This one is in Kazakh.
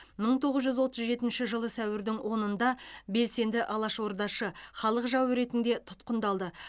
мың тоғыз жүз отыз жетінші жылы сәуірдің онында белсенді алашордашы халық жауы ретінде тұтқындалды